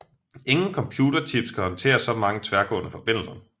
Ingen computerchips kan håndtere så mange tværgående forbindelser